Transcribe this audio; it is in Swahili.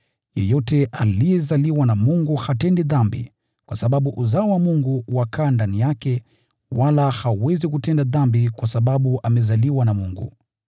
Yeyote aliyezaliwa na Mungu hatendi dhambi, kwa sababu uzao wa Mungu wakaa ndani yake, wala hawezi kutenda dhambi kwa sababu amezaliwa na Mungu.